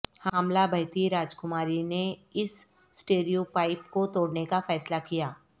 حاملہ بہتی راجکماری نے اس سٹیریوپائپ کو توڑنے کا فیصلہ کیا